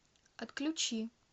отключи